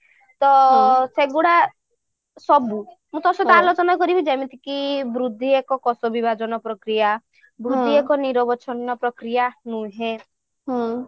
ତ ସେଗୁଡା ସବୁ ମୁଁ ତୋ ସହିତ ଆଲୋଚନା କରିବି ଯେମିତି କି ବୃଦ୍ଧି ଏକ କୋଷ ବିଭାଜନ ପ୍ରକ୍ରିୟା ବୃଦ୍ଧି ଏକ ନିରବିଛିନ୍ନ ପ୍ରକ୍ରିୟା ନୁହେଁ ହୁଁ